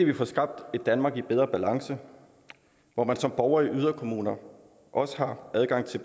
vi får skabt et danmark i bedre balance hvor man som borger i yderkommuner også har adgang til